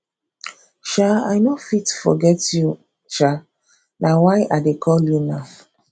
um i no fit forget you um na why i dey call you now